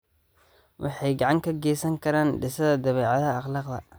Waxay gacan ka geysan karaan dhisidda dabeecadda akhlaaqda.